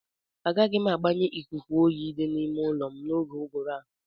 Agaghị m agbanye ikuku oyi di n'ime ụlọ m n'oge uguru a.